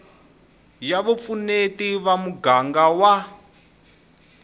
ya vupfuneti va muganga wa